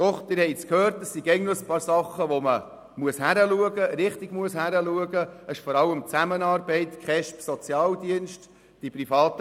Doch Sie haben gehört, dass es einige Dinge gibt, wo man richtig hinschauen muss, vor allem bei der Zusammenarbeit von KESB und Sozialdienst sowie den PriMa.